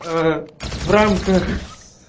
в рамках